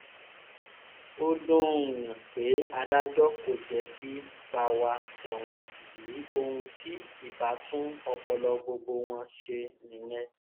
ó dùn-ún-yàn pé adájọ́ kò jẹ́ kí báwa ṣẹ̀wọ̀n yìí ohun tí ibà tún ọpọlọ gbogbo wọn ṣe nìyẹn